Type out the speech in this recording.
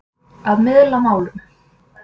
Að miðla málum